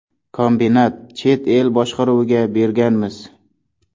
Kombinat chet el boshqaruviga berganmiz.